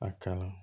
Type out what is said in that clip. A kalan